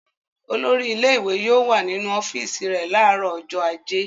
Olórí ilé-ìwé yóò wà nínu ọ́fíísì rẹ̀ láàárọ̀ ọjọ́ ajé.